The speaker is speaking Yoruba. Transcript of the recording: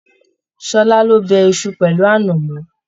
Ṣọlá ló bẹ̀ Isu pẹlu anamọ.